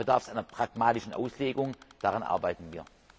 Da bedarf es einer pragmatischen Auslegung, daran arbeiten wir.